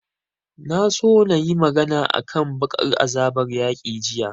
Na so na yi magana a kan baƙar azabar yaƙi jiya